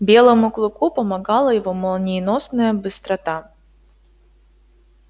белому клыку помогала его молниеносная быстрота